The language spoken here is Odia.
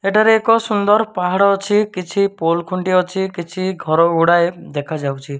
ଏଠାରେ ଏକ ସୁନ୍ଦର ପାହାଡ ଅଛି କିଛି ପୋଲ ଖୁଣ୍ଟି ଅଛି କିଛି ଘର ଗୁଡାଏ ଦେଖାଯାଉଚୁ।